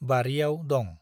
बारियाव दं।